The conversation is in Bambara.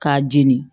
K'a jeni